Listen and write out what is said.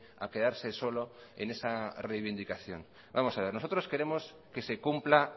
a quedarse solo en esa reivindicación vamos a ver nosotros queremos que se cumpla